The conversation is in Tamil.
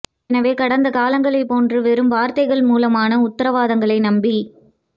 எனவே கடந்த காலங்களைப் போன்று வெறும் வார்த்தைகள் மூலமான உத்தர வாதங்களை நம்பி